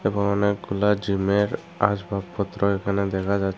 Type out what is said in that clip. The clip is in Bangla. অনেকগুলা জিমের আসবাবপত্র এখানে দেখা যাচ--